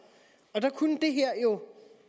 der kunne det her jo